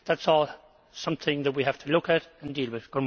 That is also something that we have to look at and deal with.